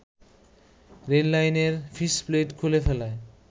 রেললাইনের ফিসপ্লেট খুলে ফেলায়